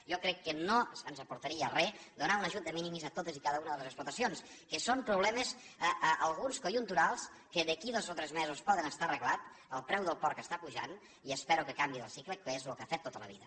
jo crec que no ens aportaria re donar un ajut de minimis a totes i cada una de les explotacions que són problemes alguns conjunturals que d’aquí a dos o tres mesos poden estar arreglats el preu del porc està pujant i espero que canviï el cicle que és el que ha fet tota la vida